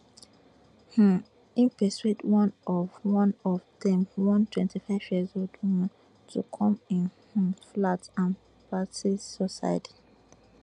um e persuade one of one of dem one twenty years old woman to come im um flat and practise suicide